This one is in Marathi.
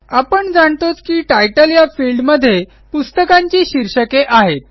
आपण जाणतोच की तितले या फील्ड मध्ये पुस्तकांची शीर्षके आहेत